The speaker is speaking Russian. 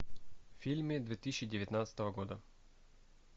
фильмы две тысячи девятнадцатого года